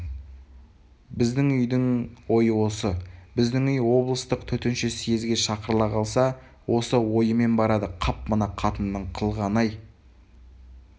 біздің үйдің ойы осы біздің үй облыстық төтенше съезге шақырыла қалса осы ойымен барады қап мына қатынның қылғаны-ай